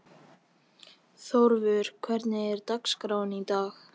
Þórvör, hvernig er dagskráin í dag?